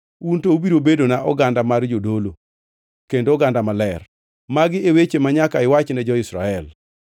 un to ubiro bedona oganda mar jodolo kendo oganda maler.’ Magi e weche manyaka iwachne jo-Israel.”